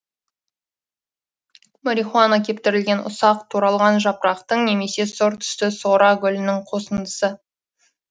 марихуана кептірілген ұсақ туралған жапырақтың немесе сұр түсті сора гүлінің қосындысы